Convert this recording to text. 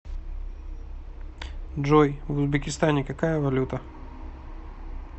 джой в узбекистане какая валюта